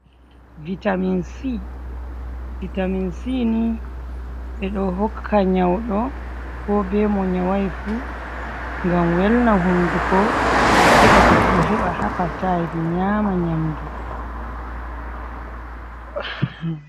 vitaminsi ni, ɓe ɗo hokka nyawɗo, ko be mo nyawaay fu, ngam welna hunnduko, heɓa goɗɗo heba hapatay, nyaama nyamdu.